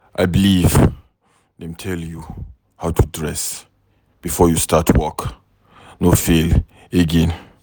I believe dem tell you how to dress before you start work, no fail again.